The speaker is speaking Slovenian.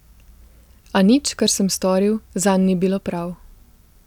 A nič, kar sem storil, zanj ni bilo prav.